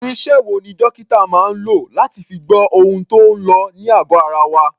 Irinṣẹ́ wo ni dókítà máa ń lò láti fi gbọ́ ohun tó ń lọ ní àgọ̀ ara wa?